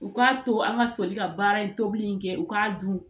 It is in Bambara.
U k'a to an ka soli ka baara in tobili in kɛ u k'a dun